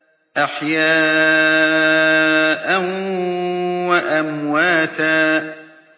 أَحْيَاءً وَأَمْوَاتًا